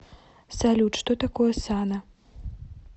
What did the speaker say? салют что такое сана